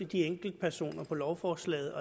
de enkeltpersoner lovforslaget